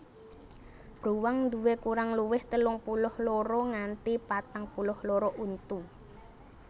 Bruwang nduwé kurang luwih telung puluh loro nganti patang puluh loro untu